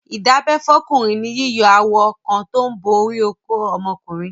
Ìdábẹ́ fọ́kùnrin ni yíyọ awọ kan tó ń bo orí okó ọmọkùnrin.